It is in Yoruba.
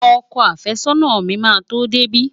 Ọkọ àfẹ́sọ́nà mi máa tó dé bí.